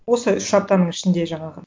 осы үш аптаның ішінде жаңағы